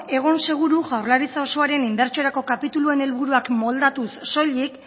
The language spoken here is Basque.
egon seguru jaurlaritza osoaren inbertsiorako kapituluen helburuak moldatuz soilik